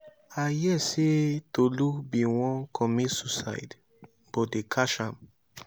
i hear say tolu bin wan comit suicide but they catch am.